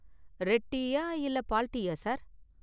Red டீயா இல்ல பால் டீயா சார்?